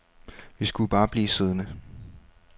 Vi skulle bare blive siddende.